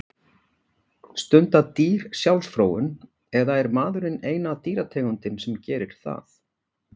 Stunda dýr sjálfsfróun eða er maðurinn eina dýrategundin sem gerir það?